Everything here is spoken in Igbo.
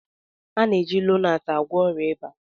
A na-eji Lonart agwọ ọrịa ịba